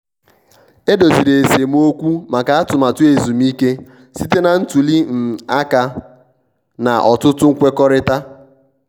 e doziri esemokwu maka atụmatụ ezumike site na ntuli um aka na ọtụtụ nkwekọrịta.